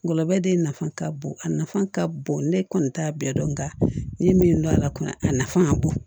Ngɔlɔbɛ de nafa ka bon a nafa ka bon ne kɔni t'a bɛɛ dɔn nga ne ye min dɔn a la kɔni a nafa ka bon